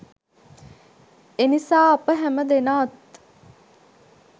එනිසා අප හැම දෙනාත්